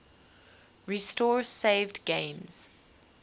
restore saved games